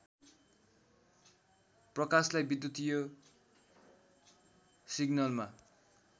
प्रकाशलाई विद्युतीय सिग्नलमा